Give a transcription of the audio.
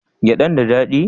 Gyadan da dadi?